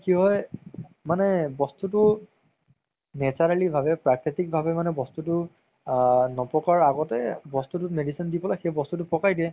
কি হয় মানে বস্তুতো naturally ভাবে মানে প্ৰাকৃতিক ভাবে বস্তুতো আ নপকাৰ আগতে বস্তুতো medicine দি পেলাই পকাই দিয়ে